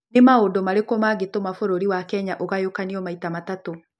nĩ maũndũ marĩkũ mangĩtũma bũrũri wa Kenya ũgayũkanio maita matatũ